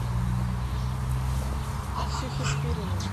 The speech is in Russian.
ксюхе спириной